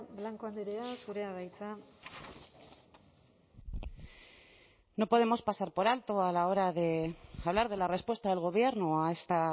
blanco andrea zurea da hitza no podemos pasar por alto a la hora de hablar de la respuesta del gobierno a esta